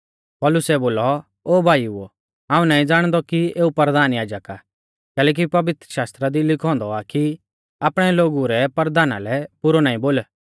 पौलुसै बोलौ ओ भाईओ हाऊं नाईं ज़ाणदौ कि एऊ परधान याजक आ कैलैकि पवित्रशास्त्रा दी लिखौ औन्दौ आ कि आपणै लोगु रै परधाना लै बुरौ नाईं बोल